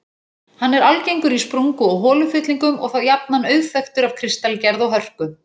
Hann er algengur í sprungu- og holufyllingum og þá jafnan auðþekktur af kristalgerð og hörku.